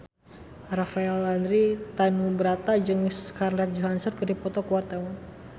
Rafael Landry Tanubrata jeung Scarlett Johansson keur dipoto ku wartawan